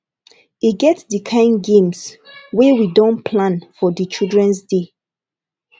e get di kain games wey we don plan for di childrens day